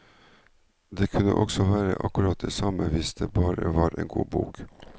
Det kunne også være akkurat det samme hvis det bare var en god bok.